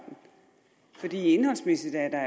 indholdsmæssigt er der